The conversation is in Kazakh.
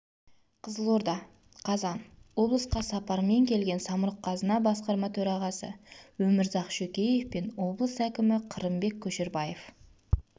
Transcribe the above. қызылорда қазан облысқа сапармен келген самұрық-қазына басқарма төрағасы өмірзақ шөкеев пен облыс әкімі қырымбек көшербаев